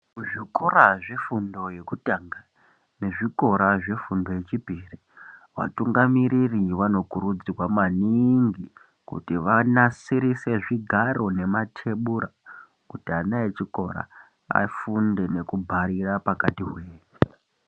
Kuzvikora zvefundo yekutanga nezvikora zvefundo yechipiri vatungamiriri vanokurudzirwa maningi kuti vanasirise zvigaro nematebura kuti ana echikora afunde nekubharira pakati hwee.